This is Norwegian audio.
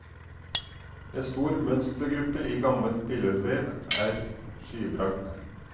En stor mønstergruppe i gammel billedvev er skybragd.